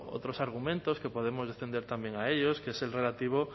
otros argumentos que podemos extender también a ellos que es el relativo